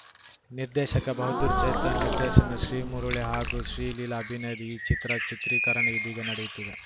ನಿರ್ದೇಶಕ ಬಹದ್ದೂರ್‌ ಚೇತನ್‌ ನಿರ್ದೇಶನದ ಶ್ರೀಮುರುಳಿ ಹಾಗೂ ಶ್ರೀಲೀಲಾ ಅಭಿನಯದ ಈ ಚಿತ್ರ ಚಿತ್ರೀಕರಣ ಇದೀಗ ನಡೆಯುತ್ತಿದೆ